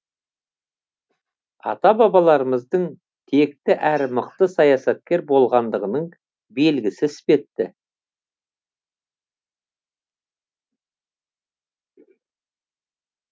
ата бабаларымыздың текті әрі мықты саясаткер болғандығының белгісі іспетті